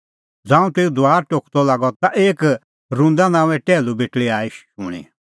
ज़ांऊं तेऊ दुआर टोकदअ लागअ ता एक रुदा नांओंए टैहलू बेटल़ी आई शूणीं